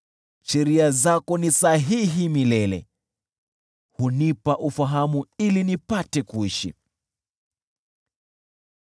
Sheria zako ni sahihi milele, hunipa ufahamu ili nipate kuishi.